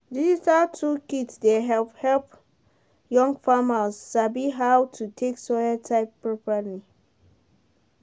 digital tool kit dey help help young farmers sabi how to take soil type properly.